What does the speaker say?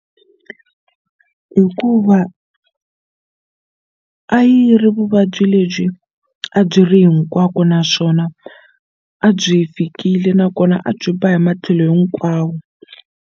Hikuva a yi ri vuvabyi lebyi a byi ri hinkwako naswona a byi fikile nakona a byi ba hi matlhelo hikwawo.